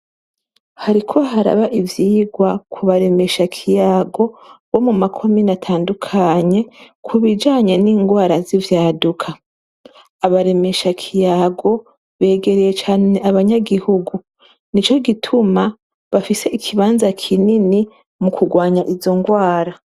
Hariko baraba ivyigwa ku baremeshakiyago bo mu makomine atandukanye ku bijanye n'ingwara z'ivyaduka. Abaremeshakiyago begereye cane abanyagihugu. Nico gituma bafise ikibanza kinini mu kurwanya izo ngwara.